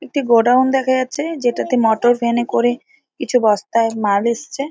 একটি গোডাউন দেখা যাচ্ছে। যেটাতে মোটর ভ্যান এ করে কিছু বস্তায় মাল এসছে ।